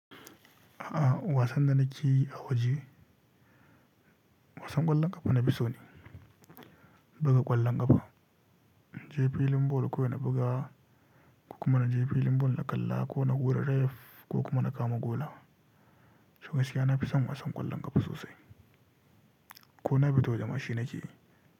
A'a wasan da nake yi a waje wasan ƙwallon ƙafa na fi so ni. Buga ƙwallon ƙafa, na je filin ball ko na buga ko kuma na je filin ball na kalla ko na hura ref ko kuma na kama gola. To gaskiya na fi son wasan ƙwallon ƙafa sosai ko na fita waje ma shi nake yi.